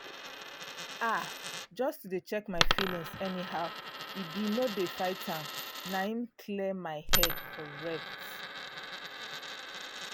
ah! just to dey check my feelings anyhow e be no dey fight am - na im clear my head correct.